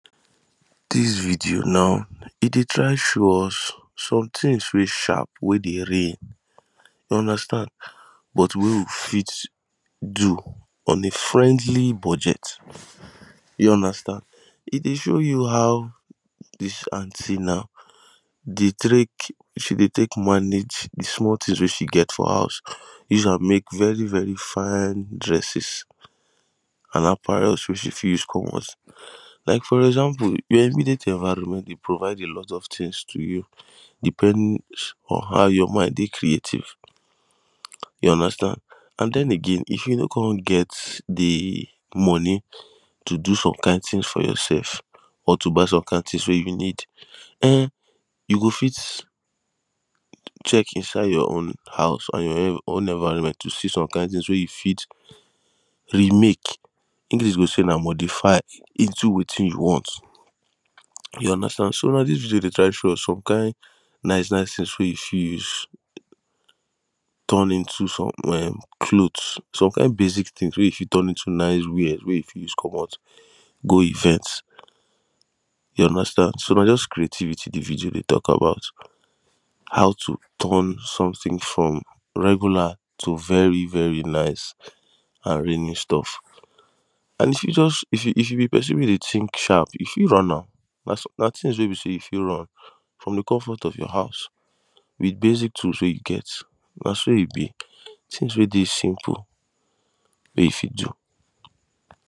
Dis video now e dey try show us sometins wey sharp weydey reign you understand but wey we fit do on a friendly budget you understand. E dey show you how dis aunty now dey tek she dey tek manage de small tins wey she gets for her house use am mek very fine dresses and apparel wey she fit use comot like for example your immediate environment dey provide alot of tins to you depends on how your mind dey creative you understand and den again if you no come get de money to do some kind tins for yoursef or to buy some kind tins wey you need um you go fit check inside your own house or environment to see some kind tins wey you fit remake English go say na modify into wetin you want you understand so now dis video dey try show us some kind nice nice tins wey you fit use turn into some um clothes some kind basic tins wey you fit turn into nice wears wey you fit use comot go events you understand so na just creativity the video dey tok about how to turn something from regular to very very nice and reigning stuff and you fit just if you be person weydey tink sharp you fit run am na tin wey be say you fit run from de comfort of your house with basic tools wey you get na so e be tins wey dey simple wey you fit do.